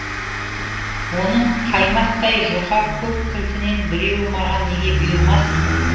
оның қаймақтай жұқа көп кілтінен біреуі маған неге бұйырмасын